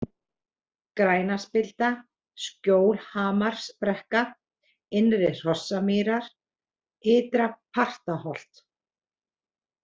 Grænaspilda, Skjólhamarsbrekka, Innri-Hrossamýrar, Ytra-Partaholt